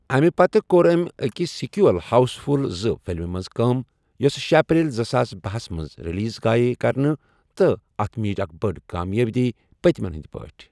امہِ پتہٕ کوٚر ٲمۍ أکِس سیکوئل، ہاؤس فُل زٕ فِلمِہ منٛز کٲم، یوٚس شے اپریل زٕساس بہس منٛز ریلیز آیہ کرنہٕ تہٕ اَتھ میٖج اکھ بٔڈ کامیٲبی پٔتمیٚن ہِنٛدۍ پٲٹھۍ ۔